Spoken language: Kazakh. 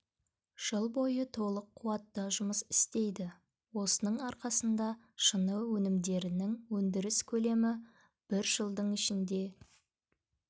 жыл бойы толық қуатта жұмыс істейді осының арқасында шыны өнімдерінің өндіріс көлемі бір жылдың ішінде